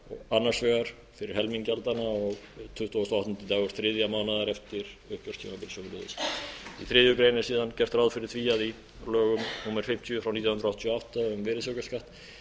annars vegar fyrir helming gjaldanna og tuttugasta og áttundi dagur þriðja mánaðar eftir uppgjörstímabil sömuleiðis í þriðju grein er síðan gert ráð fyrir því að í lögum númer fimmtíu nítján hundruð áttatíu og átta um virðisaukaskatt